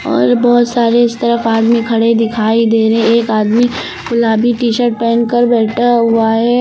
और बहोत सारे इस तरफ आदमी खड़े दिखाई दे रहे हैं। एक आदमी गुलाबी टी-शर्ट पहन कर बैठा हुआ है।